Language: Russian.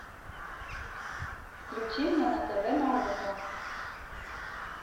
включи мне на тв наука